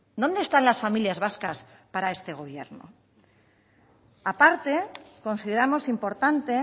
dónde están las familias vascas para este gobierno a parte consideramos importante